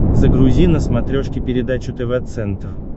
загрузи на смотрешке передачу тв центр